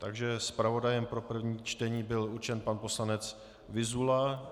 Takže zpravodajem pro první čtení byl určen pan poslanec Vyzula.